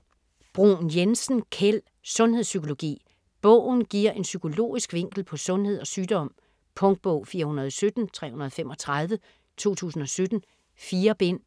Bruun-Jensen, Kjeld: Sundhedspsykologi Bogen giver en psykologisk vinkel på sundhed og sygdom. Punktbog 417335 2017. 4 bind.